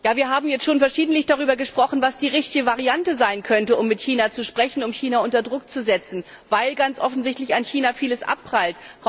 Wir haben schon verschiedentlich darüber gesprochen, was die richtige Variante sein könnte, um mit China zu sprechen, um China unter Druck zu setzen, weil an China ganz offensichtlich vieles abprallt.